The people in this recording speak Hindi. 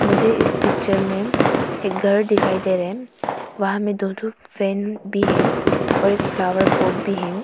मुझे इस पिक्चर में एक घर दिखाई दे रहे है वहां में दो ठो फैन भी है और एक फ्लावर पॉट भी है।